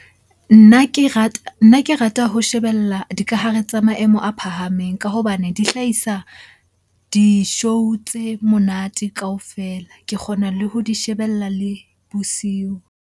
Nna ke rata, nna ke rata ho shebella dikahare tsa maemo a phahameng ka hobane di hlahisa di-show tse monate kaofela. Ke kgona le ho di shebella le bosiu.